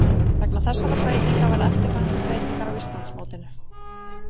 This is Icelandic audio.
Vegna þessarar breytingar verða eftirfarandi breytingar á Íslandsmótinu: